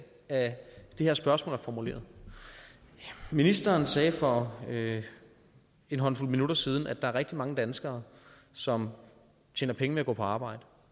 at det her spørgsmål er formuleret ministeren sagde for en håndfuld minutter siden at der er rigtig mange danskere som tjener penge ved at gå på arbejde